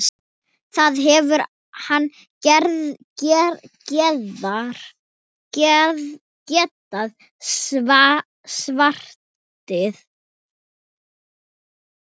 Það hefði hann getað svarið.